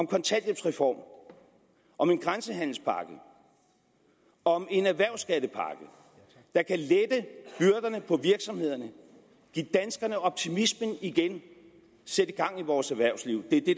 kontanthjælpsreform om en grænsehandelspakke og om en erhvervsskattepakke der kan lette byrderne for virksomhederne give danskerne optimismen igen og sætte gang i vores erhvervsliv det er det